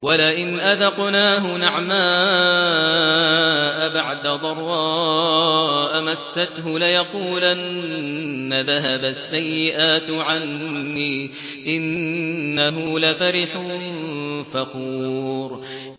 وَلَئِنْ أَذَقْنَاهُ نَعْمَاءَ بَعْدَ ضَرَّاءَ مَسَّتْهُ لَيَقُولَنَّ ذَهَبَ السَّيِّئَاتُ عَنِّي ۚ إِنَّهُ لَفَرِحٌ فَخُورٌ